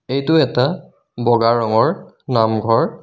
এইটো এটা বগা ৰঙৰ নামঘৰ.